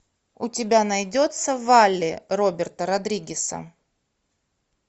у тебя найдется валли роберта родригеса